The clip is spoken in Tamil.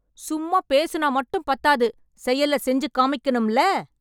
சும்மா பேசுனா மட்டும் பத்தாது செயல்ல செஞ்சு காமிக்கன்னுமில்ல